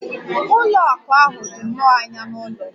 Ụlọ akụ ahụ dị nnọọ anya n'ụlọ m.